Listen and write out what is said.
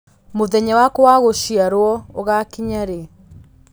mũthenya wakwa wa gũciarwo ũgakinya rĩ